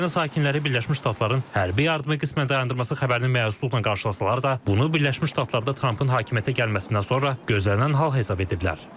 Ukrayna sakinləri Birləşmiş Ştatların hərbi yardımı qismən dayandırması xəbərini məyusluqla qarşılasalar da, bunu Birləşmiş Ştatlarda Trampın hakimiyyətə gəlməsindən sonra gözlənilən hal hesab ediblər.